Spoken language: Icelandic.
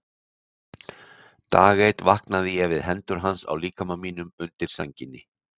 Dag einn vaknaði ég við hendur hans á líkama mínum undir sænginni.